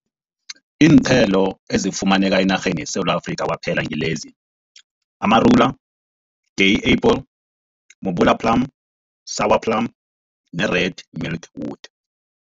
Iinthelo ezifumaneka enarheni yeSewula Afrika, kwaphela ngilezi, amarula, day apple, mobola plum, sour plum ne-red milkwood.